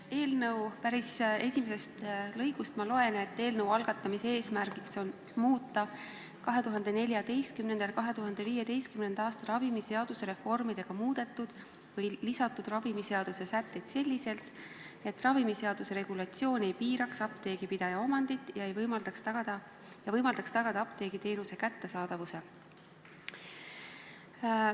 Eelnõu seletuskirja päris esimesest lõigust ma loen, et eelnõu eesmärk on muuta 2014. ja 2015. aastal ravimiseaduse muutmise käigus lisatud sätteid selliselt, et regulatsioon ei piiraks apteegipidaja omandit ja võimaldaks tagada apteegiteenuse kättesaadavuse.